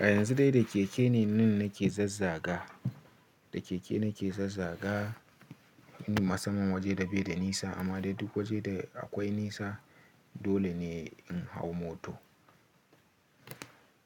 A yanzu dai da keke ne nun nake zazzaga, da keke nake zazzaga inda masamman waje da bai da nisa. Amma dai duk waje da akwai nisa dole ne in hau moto.